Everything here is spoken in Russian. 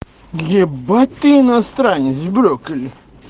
ебать ты иностранец брокколи